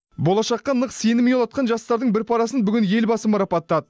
болашаққа нық сенім ұялатқан жастардың бір парасын бүгін елбасы марапаттады